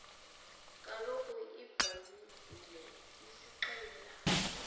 kaloku ibhayibhile isixelela